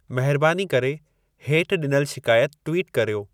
महिरबानी करे हेठि ॾिनल शिकायत ट्वीट कर्यो